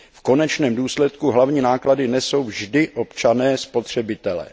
V konečném důsledku hlavní náklady nesou vždy občané spotřebitelé.